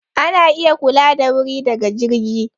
Ana iya kula da wuri daga jirgi.